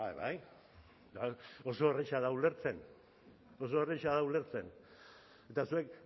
bai bai oso erraza da ulertzen oso erraza da ulertzen eta zuek